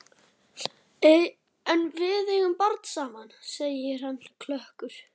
En við eigum barn saman, segir hann klökkur.